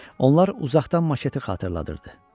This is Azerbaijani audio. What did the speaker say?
Onlar uzaqdan maketi xatırladırdı.